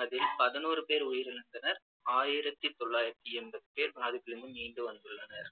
அதில் பதினோரு பேர் உயிரிழந்தனர் மற்றும் ஆயிரத்தி தொள்ளாயிரத்தி எண்பது பேர் பாதிப்பிலிருந்து மீண்டு வந்துள்ளனர்